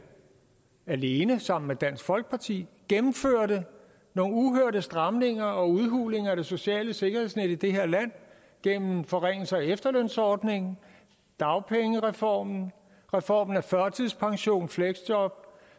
alene sammen med dansk folkeparti gennemførte nogle uhørte stramninger og udhulinger af det sociale sikkerhedsnet i det her land gennem forringelser af efterlønsordningen dagpengereformen reformen af førtidspension fleksjob